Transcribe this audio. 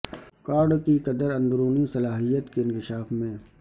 cards کی قدر اندرونی صلاحیت کے انکشاف میں